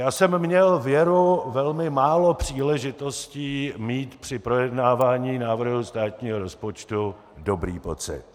Já jsem měl věru velmi málo příležitostí mít při projednávání návrhu státního rozpočtu dobrý pocit.